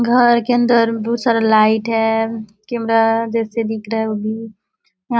घर के अंन्दर बहुत सारा लाइट है कैमरा जैसे दिख रहा है व्यू य --